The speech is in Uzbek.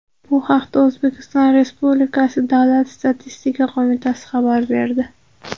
Bu haqda O‘zbekiston Respublikasi Davlat statistika qo‘mitasi xabar berdi .